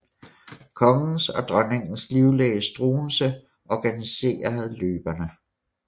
Kongens og dronningens livlæge Struensee organiserede løbene